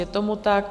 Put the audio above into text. Je tomu tak.